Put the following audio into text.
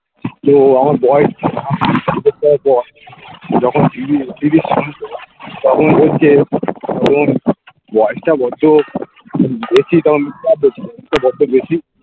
তো আমার বয়েস যখন তখন বলছে বয়সটা বড্ডো বড্ডো বেশি